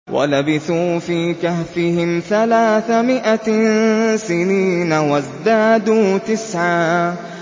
وَلَبِثُوا فِي كَهْفِهِمْ ثَلَاثَ مِائَةٍ سِنِينَ وَازْدَادُوا تِسْعًا